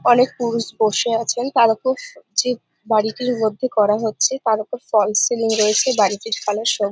অনেক পুরুষ বসে আছেন তারওপর যে বাড়িটির মধ্যে করা হচ্ছে তার ওপর ফলস সিলিং রয়েছে বাড়িটির কালার সবু--